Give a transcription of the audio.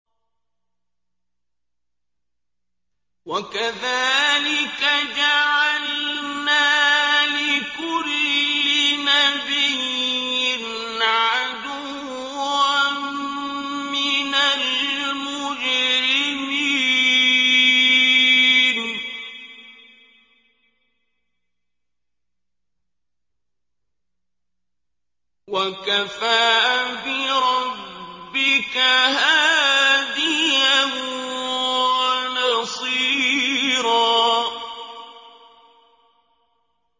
وَكَذَٰلِكَ جَعَلْنَا لِكُلِّ نَبِيٍّ عَدُوًّا مِّنَ الْمُجْرِمِينَ ۗ وَكَفَىٰ بِرَبِّكَ هَادِيًا وَنَصِيرًا